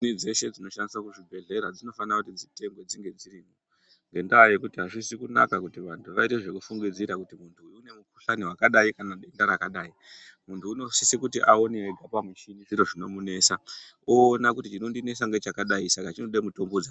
Muchini dzeshe dzinoshandiswa kuzvibhehlera dzinofanira kuti dzitengwe dzinge dziripo ngendaa yekuti azvizi kunaka kuti vantu vaite zvekufungidzira kuti muntu uyu une mukhuhlani kana denda rakadai muntu unosise kuti aone ega kuti